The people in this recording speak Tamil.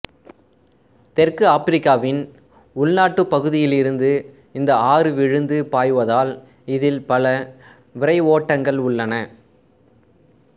தெற்கு ஆபிரிக்காவின் உள்நாட்டுப் பகுதியிலிருந்து இந்த ஆறு விழுந்து பாய்வதால் இதில் பல விரைவோட்டங்கள் உள்ளன